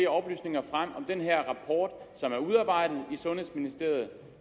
oplysninger frem om den her rapport som er udarbejdet i sundhedsministeriet og